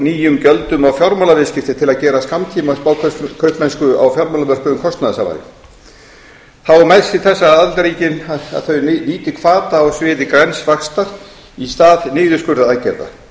nýjum gjöldum á fjármálaviðskipti til að gera skammtíma spákaupmennsku á fjármálamörkuðum kostnaðarsamari þá er mælst til þess að aðildarríkin nýti hvata á sviði græns vaxtar í stað niðurskurðaraðgerða